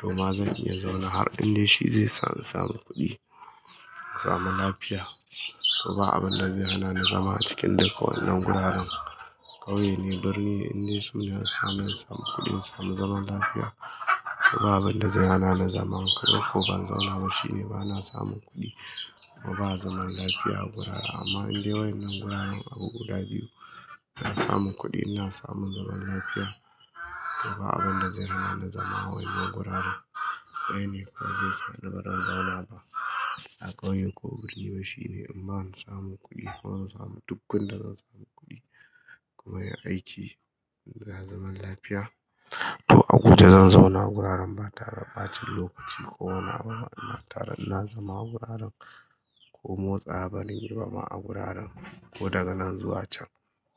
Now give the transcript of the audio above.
To ma zan iya zauna har inda shi zai sa in samu kuɗi, samun lafiya. To ba abin da zai hana na zama a cikin duka wannan guraren. Ƙauye ne, birni ne inda sun dai su sa ni in samu kuɗi in samu zaman lafiya. To ba abin da zai hana na zama ko ban zauna ba shine bana samun kuɗi, bana zaman lafiya a gurara. Amma indai waɗannan guraren abu guda biyu, na samu kuɗi ina samu zaman lafiya to ba abin da zai hana nali zama a wannan guraren. Waɗanne ko ba zai sa ni baran zauna ba a ƙauye ko birni ba shine in ban samu kuɗi ko in samu duk gun da zan samu kuɗi kuma yin aiki da zaman lafiya. To a guje zan zauna guraren ba tare da ɓacin lokaci ko wani abu ba. Ina tare ina zama a guraren ko motsa bari yi ba ma a guraren ko daga nan zuwa can.